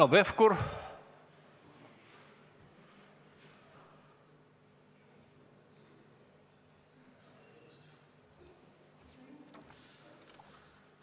Aitäh!